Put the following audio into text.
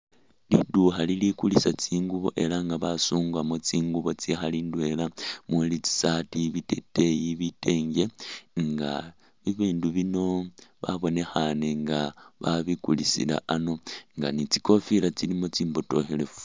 Liidukha lilikulisa tsingubo elah nga basungamo tsingubo tsikhali indwela taa muli tsi' sarti biteteya bitenge nga bibindu bino babonekhane nga babikulisila ano nga ni tsikofila tsilimo tsimbotokhelefu